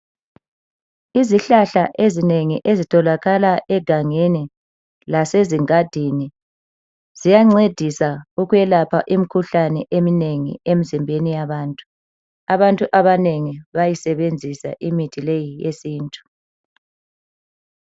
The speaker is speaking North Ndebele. Izihlahla ezinengi ezitholakala egangeni lasezingadini ziyancedisa ukwelapha imkhuhlane eminengi emzimbeni yabantu .Abantu abanengi bayisebenzisa imithi leyi eyesintu.